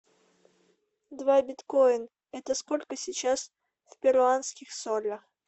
два биткоина это сколько сейчас в перуанских солях